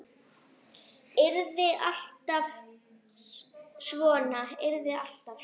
Yrði alltaf svona.